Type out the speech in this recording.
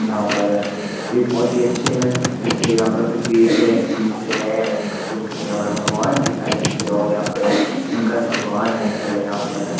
यहां पर वे बहुत ही अच्‍छे है पीछे यहां पर कुछ रहे बेच रहे हैं मटके-मुटके यहां पर भगवान की सारी चीजें और यहा पर शंकर भगवान है खड़े यहां पर--